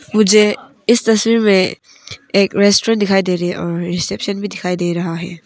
मुझे इस तस्वीर में एक रेस्टोरेंट दिखाई दे रही है और रिसेप्शन भी दिखाई दे रहा है।